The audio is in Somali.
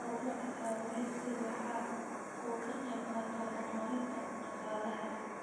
Horumarka kalluumaysigu waxa uu ka qayb qaataa horumarinta dhaqaalaha.